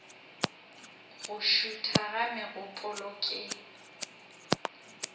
go šutha ga megopolo ke